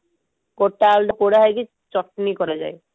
ଗୋଟା ଆଳୁ ଟା ପୋଡାହେଇକି ଚକୁଳି କରା ଯାଏ